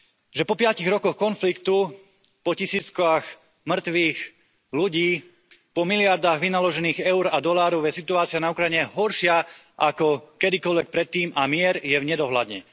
Že po piatich rokoch konfliktu, po tisíckach mŕtvych ľudí, po miliardách vynaložených eur a dolárov je situácia na Ukrajine horšia ako kedykoľvek predtým a mier je v nedohľadne.